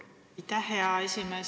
Aitäh, hea esimees!